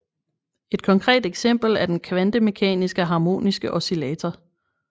Et konkret eksempel er den kvantemekaniske harmoniske oscillator